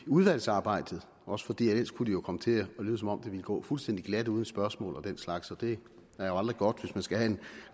udvalgsarbejdet også fordi det jo ellers kunne komme til at lyde som om det ville gå fuldstændig glat uden spørgsmål og den slags og det er jo aldrig godt hvis man skal have en